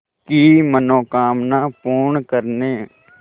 की मनोकामना पूर्ण करने